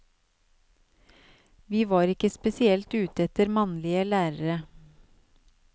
Vi var ikke spesielt ute etter mannlige lærere.